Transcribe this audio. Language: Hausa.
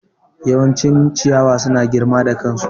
Yawancin ciyawa suna girma da kansu.